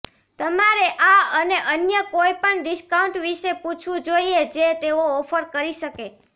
તમારે આ અને અન્ય કોઈપણ ડિસ્કાઉન્ટ વિશે પૂછવું જોઈએ જે તેઓ ઓફર કરી શકે